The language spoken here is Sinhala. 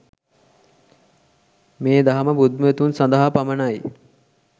මේ දහම බුද්ධිමතුන්ම සදහා පමණයි